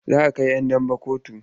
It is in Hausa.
Za a kai 'yan daba kotu.